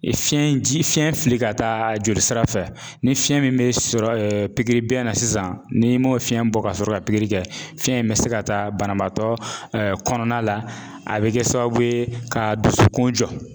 Fiɲɛ ji fiɲɛ fili ka taa jolisira fɛ ni fiɲɛ min bɛ sɔrɔ bɛ na sisan ni m'o fiɲɛ bɔ ka sɔrɔ ka kɛ fiɲɛ in bɛ se ka taa banabaatɔ kɔnɔna la a bɛ kɛ sababu ye ka dusukun jɔ.